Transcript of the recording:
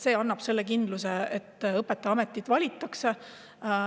See õpetajaametit valima.